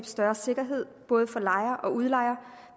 større sikkerhed både for lejer og udlejer